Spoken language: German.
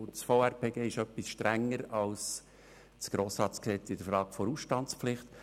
Das VRPG ist in der Frage der Ausstandspflicht etwas strenger als das GRG.